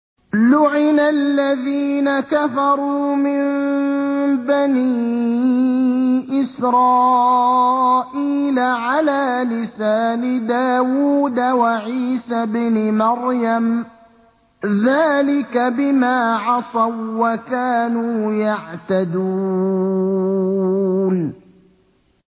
لُعِنَ الَّذِينَ كَفَرُوا مِن بَنِي إِسْرَائِيلَ عَلَىٰ لِسَانِ دَاوُودَ وَعِيسَى ابْنِ مَرْيَمَ ۚ ذَٰلِكَ بِمَا عَصَوا وَّكَانُوا يَعْتَدُونَ